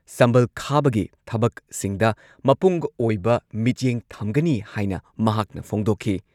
ꯁꯝꯕꯜ ꯈꯥꯕꯒꯤ ꯊꯕꯛꯁꯤꯡꯗ ꯃꯄꯨꯡꯑꯣꯏꯕ ꯃꯤꯠꯌꯦꯡ ꯊꯝꯒꯅꯤ ꯍꯥꯏꯅ ꯃꯍꯥꯛꯅ ꯐꯣꯡꯗꯣꯛꯈꯤ꯫